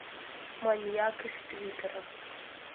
маньяк из твиттера